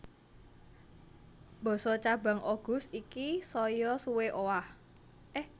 Basa cabang Oguz iki saya suwé owah